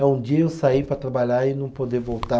É um dia eu sair para trabalhar e não poder voltar.